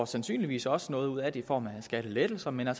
sandsynligvis også noget ud af det i form af skattelettelser men der